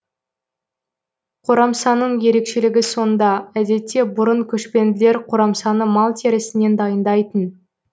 қорамсаның ерекшілігі сонда әдетте бұрын көшпенділер қорамсаны мал терісінен дайындайтын